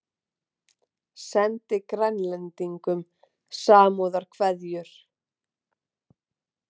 Sendi Grænlendingum samúðarkveðjur